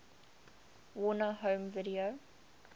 warner home video